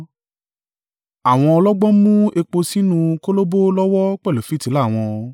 Àwọn ọlọ́gbọ́n mú epo sínú kólòbó lọ́wọ́ pẹ̀lú fìtílà wọn.